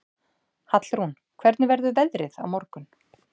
Hallrún, hvernig verður veðrið á morgun?